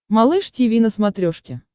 малыш тиви на смотрешке